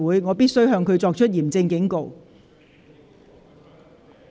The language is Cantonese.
我必須向他作出嚴正警告。